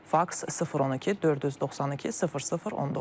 Faks 012 492 00 19.